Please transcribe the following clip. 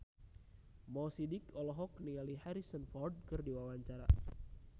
Mo Sidik olohok ningali Harrison Ford keur diwawancara